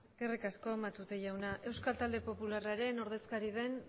eskerrik asko matute jauna euskal talde popularraren ordezkari den